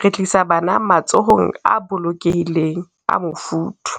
re tlisa bana matsohong a bolokehileng a mofuthu.